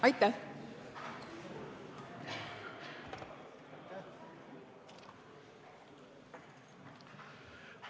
Aitäh!